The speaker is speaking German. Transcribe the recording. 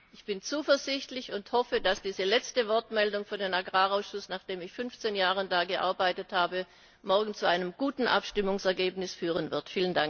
Ich bin zuversichtlich und hoffe, dass diese letzte Wortmeldung für den Agrarausschuss, nachdem ich 15 Jahre da gearbeitet habe, morgen zu einem guten Abstimmungsergebnis führen wird.